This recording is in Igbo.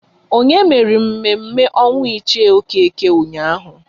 Onye mere mme mme ọnwụ Ichie Okeke ụnyaahụ?